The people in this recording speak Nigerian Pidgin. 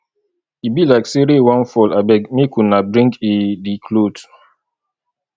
e be like say rain wan fall abeg make una bring i the cloths